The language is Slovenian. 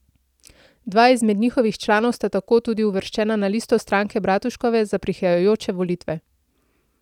Dva izmed njihovih članov sta tako tudi uvrščena na listo stranke Bratuškove za prihajajoče volitve.